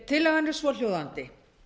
tillagan er svohljóðandi